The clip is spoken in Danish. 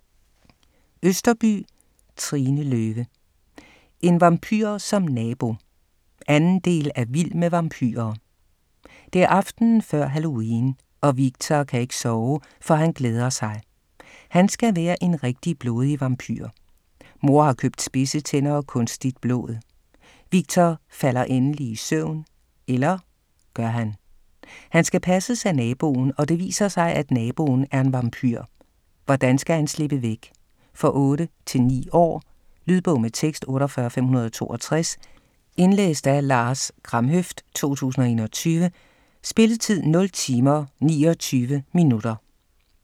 Østerbye, Trine Løve: En vampyr som nabo! 2. del af Vild med vampyrer. Det er aftenen før halloween, og Viktor kan ikke sove, for han glæder sig. Han skal være en rigtig blodig vampyr. Mor har købt spidse tænder og kunstigt blod. Viktor falder endelig i søvn - eller gør han? Han skal passes af naboen, og det viser sig, at naboen er en vampyr. Hvordan skal han slippe væk? For 8-9 år. Lydbog med tekst 48562 Indlæst af Lars Kramhøft, 2021. Spilletid: 0 timer, 29 minutter.